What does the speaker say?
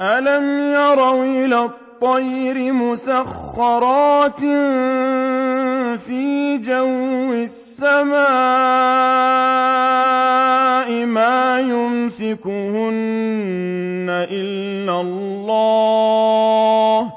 أَلَمْ يَرَوْا إِلَى الطَّيْرِ مُسَخَّرَاتٍ فِي جَوِّ السَّمَاءِ مَا يُمْسِكُهُنَّ إِلَّا اللَّهُ ۗ